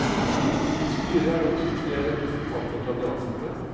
I styret er det også tre representanter fra de ansatte.